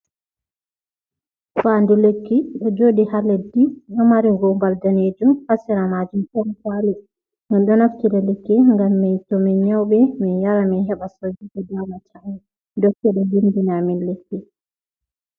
Fandu lekki ɗo joɗi ha leddi ɗo mari gumbal danejum, ha sera majun ɗon kwali, min ɗo naftira lekki ngam mii to min nyauɓe min yara min heɓa sauki ko damata amin, dokta ɗo vindina amin lekki.